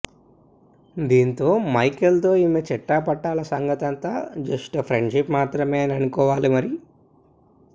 దీంతో మైకేల్ తో ఈమె చెట్టాపట్టాల సంగతి అంతా జస్ట్ ఫ్రెండ్షిప్ మాత్రమే అని అనుకోవాలి మరి